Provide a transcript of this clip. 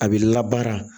A b'i labara